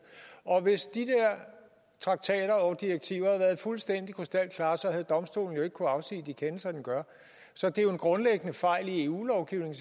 og hvis de traktater og direktiver havde været fuldstændig krystalklare havde domstolen ikke kunnet afsige de kendelser den gør så det er jo en grundlæggende fejl i eu lovgivningen